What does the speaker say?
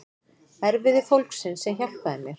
Erfiði fólksins sem hjálpaði mér.